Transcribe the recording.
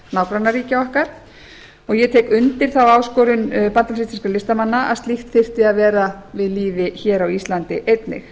nágrannaríkja okkar og ég tek undir þá áskorun bandalags íslenskra listamanna að slíkt þyrfti að vera við lýði hér á íslandi einnig